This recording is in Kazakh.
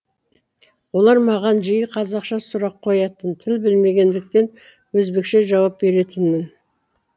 олар маған жиі қазақша сұрақ қоятын тіл білмегендіктен өзбекше жауап беретінмін